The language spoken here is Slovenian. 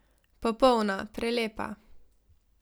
Popolna, prelepa.